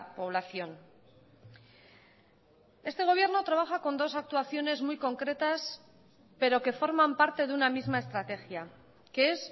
población este gobierno trabaja con dos actuaciones muy concretas pero que forman parte de una misma estrategia que es